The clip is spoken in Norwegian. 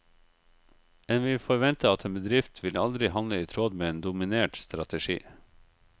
En vil forvente at en bedrift vil aldri handle i tråd med en dominert strategi.